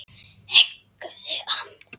Höggðu hann!